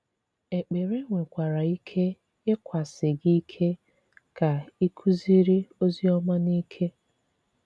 Èkpèrè nwekwara ike ị́kwàsi gị ike ka ị kụziri ozi ọma n’ike.